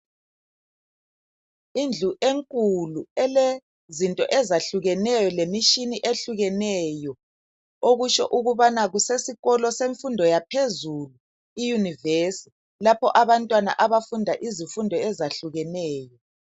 Indlu enkulu elezinto ezahlukeneyo lemishini ehlukeneyo, okusho ukubana kesesikolo semfundo yaphezulu iYunivesi lapho abantwana abafunda izifundo ezahlukeneyo.